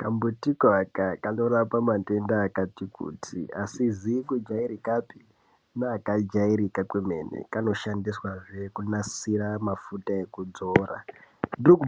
Kambutiko aka kanorapa matenda akati kuti, asizi kujairikapi neakajairika kwemene. Kanoshandiswazve kunasira mafuta ekudzora .